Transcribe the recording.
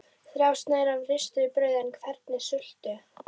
Þrjár sneiðar af ristuðu brauði en hvernig sultu?